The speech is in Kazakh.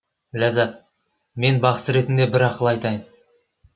ләззат мен бақсы ретінде бір ақыл айтайын